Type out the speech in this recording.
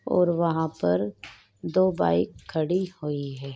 और वहाँ पर दो बाइक खड़ी हुई है।